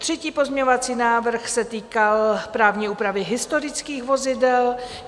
Třetí pozměňovací návrh se týkal právní úpravy historických vozidel.